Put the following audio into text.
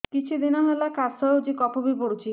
କିଛି ଦିନହେଲା କାଶ ହେଉଛି କଫ ବି ପଡୁଛି